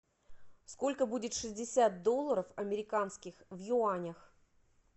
сколько будет шестьдесят долларов американских в юанях